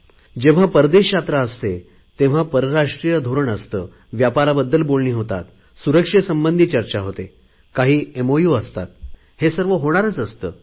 जेव्हा परदेश दौरा असतो तेव्हा आंतरराष्ट्रीय धोरण व्यापाराबद्दल बोलणी होतात सुरक्षेसंबंधी चर्चा होते काही सामंजस्य करार हे तर होणारच असतात